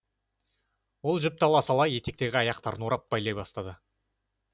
ол жіпті ала сала етіктегі аяқтарын орап байлай бастайды